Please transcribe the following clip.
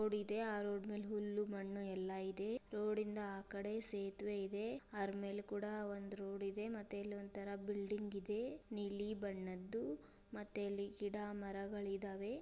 Road ಇದೆ ಆ road ಮೇಲೆ ಹುಲ್ಲು ಮಣ್ಣು ಎಲ್ಲ ಇದೆ ರೋಡಿಂ ದ ಆಕಡೆ ಸೇತುವೆ ಇದೆ ಅದರ ಮೆಲೆ ಕೊಡ ಒಂದು ರೋಡಿದೆ ಮತ್ತೆ ಅಲ್ಲೊಂದುತರ ಬಿಲ್ಡಿಂಗ್ ಇದೆ ನೀಲಿ ಬಣ್ಣದ್ದು ಮತ್ತೆ ಇಲ್ಲಿ ಗಿಡ ಮರಗಳಿದ್ದಾವೆ.